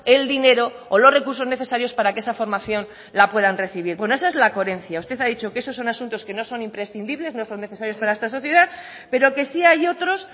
el dinero o los recursos necesarios para que esa formación la puedan recibir bueno esa es la coherencia usted ha dicho que esos son asuntos que no son imprescindibles no son necesarios para esta sociedad pero que sí hay otros